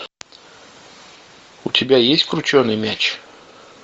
у тебя есть крученый мяч